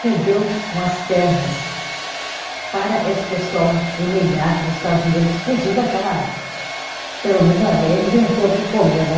cedeu umas terras para esse pessoal emigrar para os Estados Unidos e fugir daquela, pelo menos ali eles iam ter o que comer, né?